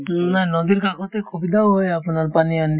না নদীৰ কাষতে সুবিধাও হয় আপোনাৰ পানী আনা